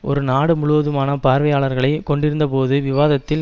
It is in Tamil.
ஒரு நாடு முழுவதுமான பார்வையாளர்களை கொண்டிருந்த பொது விவாதத்தில்